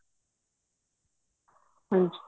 ਹਾਂਜੀ